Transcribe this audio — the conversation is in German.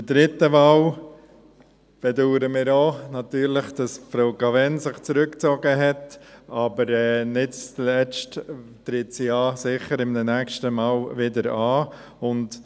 Bei der dritten Wahl bedauern natürlich auch wir, dass sich Frau Cavegn zurückgezogen hat, aber sie tritt ja nicht zuletzt bei einem nächsten Mal sicher wieder an.